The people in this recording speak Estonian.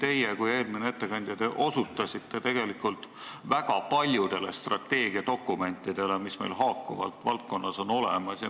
Teie ja ka eelmine ettekandja osutasite tegelikult väga paljudele strateegiadokumentidele, mis meil haakuvalt on valdkonnas olemas.